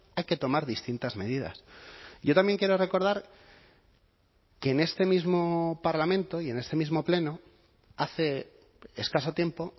hay que tomar distintas medidas yo también quiero recordar que en este mismo parlamento y en este mismo pleno hace escaso tiempo